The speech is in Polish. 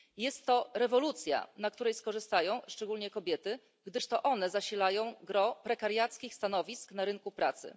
Jest to rewolucja, na której skorzystają szczególnie kobiety, gdyż to one zasilają gros prekariackich stanowisk na rynku pracy.